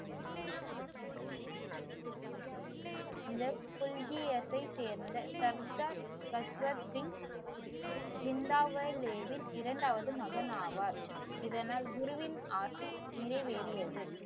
இந்த புல்கியத்தை சேர்ந்த சர்தார் சஸ்வத்சிங் ஜிந்தாவேலேவின் இரண்டாவது மகன் ஆவார். இதனால் குருவின் ஆசை நிறைவேறியது.